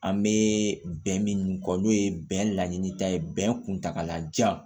An bɛ bɛn min kɔ n'o ye bɛn laɲini ta ye bɛn kuntaagalajan